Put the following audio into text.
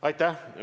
Aitäh!